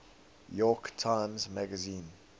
york times magazine